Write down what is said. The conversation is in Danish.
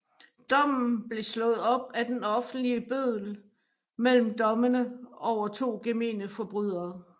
Dommen blev slået op af den offentlige bøddel mellem dommene over to gemene forbrydere